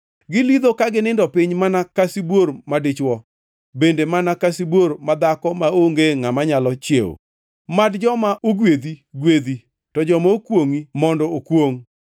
Gilidho ka ginindo piny mana ka sibuor madichwo, bende mana ka sibuor madhako maonge ngʼama nyalo chiewo? “Mad joma ogwedhi gwedhi to joma kwongʼi mondo okwongʼ!”